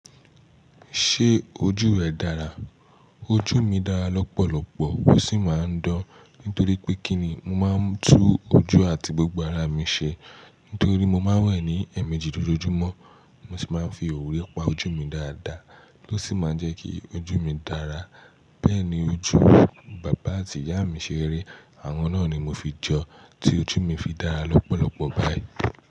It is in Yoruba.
Ṣé ojú ẹ dára? Ojú mi dára lọ́pọ̀lọpọ̀ ó sì máa ń dán nítorí pé kí ni? Mo máa ń tú ojú àti gbogbo ara mi ṣe nítorí mo máa ń wẹ̀ ní ẹ̀ẹ̀mejì lójoojúmọ́. Mo sì máa ń fi òwú rẹ́ pa ojú mi dáadáa tó sì máa ń jẹ́ kí ojú mi dára. Bẹ́ẹ̀ ni ojú bàbá àti ìyá mi ṣe rí. Àwọn náà ni mo fi jọ tí ojú mi fi dára lọ́pọ̀lọpọ̀ báyìí.